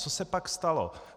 Co se pak stalo?